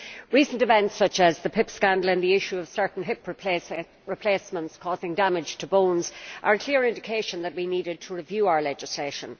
Recent events such as the PIP scandal and the issue of certain hip replacements causing damage to bones are clear indications that we needed to review our legislation.